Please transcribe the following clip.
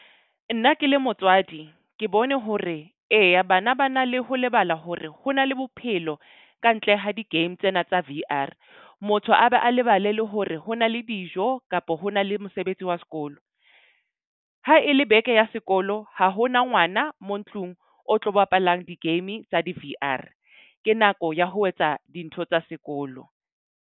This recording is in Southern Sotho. Nna ke le motswadi, ke bone hore eya bana ba na le ho lebala hore ho na le bophelo ka ntle ha di-game tsena tsa V_R. Motho a be a lebale le hore ho na le dijo kapo ho na le mosebetsi wa sekolo. Ha e le beke ya sekolo, ha hona ngwana mo ntlung o tlo bapalang di-game tsa di-V_R. Ke nako ya ho etsa dintho tsa sekolo.